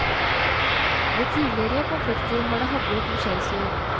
Ved tidligere konflikter har det haglet med skjellsord.